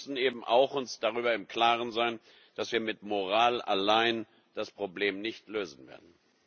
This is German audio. Aber wir müssen uns eben auch darüber im Klaren sein, dass wir mit Moral allein das Problem nicht lösen werden.